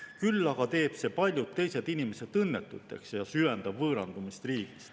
Küll aga teeb see paljud teised inimesed õnnetuks ja süvendab võõrandumist riigist.